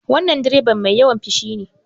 Wannan direban mai yawan fushi